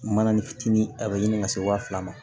Mana ni fitinin a bɛ ɲini ka se waa fila ma